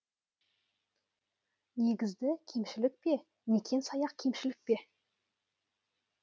негізді кемшілік бе некен сайақ кемшілік бе